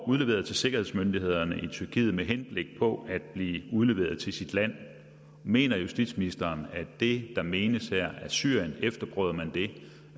udleveret til sikkerhedsmyndighederne i tyrkiet med henblik på at blive udleveret til sit land mener justitsministeren at det der menes her er syrien efterprøvede man det